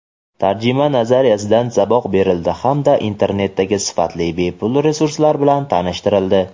tarjima nazariyasidan saboq berildi hamda internetdagi sifatli bepul resurslar bilan tanishtirildi.